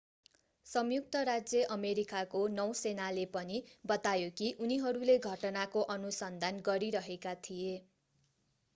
संयुक्त राज्य अमेरिकाको नौसेनाले पनि बतायो कि उनीहरूले घटनाको अनुसन्धान गरिरहेका थिए